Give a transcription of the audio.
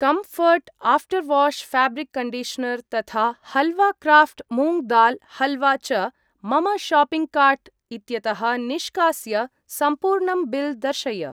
Comfort after wash fabric conditioner तथा halwa craft moong dal halwa च मम शाप्पिङ्ग् कार्ट् इत्यतः निष्कास्य सम्पूर्णं बिल् दर्शय।